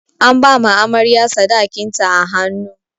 An ba amarya sadakin ta a hannu.